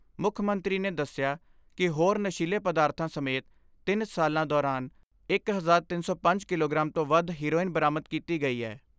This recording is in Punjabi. ਮੁੱਖ ਮੰਤਰੀ ਨੇ ਦਸਿਆ ਕਿ ਹੋਰ ਨਸ਼ੀਲੇ ਪਦਾਰਥਾਂ ਸਮੇਤ ਤਿੰਨ ਸਾਲਾਂ ਦੌਰਾਨ ਇਕ ਹਜ਼ਾਰ ਤਿੰਨ ਸੌ ਪੰਜ ਕਿਲੋ ਗਰਾਮ ਤੋਂ ਵੱਧ ਹੈਰੋਇਨ ਬਰਾਮਦ ਕੀਤੀ ਗਈ ਐ।